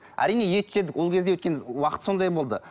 әрине ет жедік ол кезде өйткені уақыт сондай болды